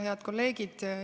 Head kolleegid!